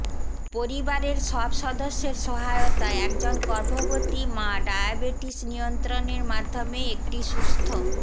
পরিবারের সব সদস্যের সহায়তায় একজন গর্ভবতী মা ডায়াবেটিস নিয়ন্ত্রণের মাধ্যমে একটি সুস্থ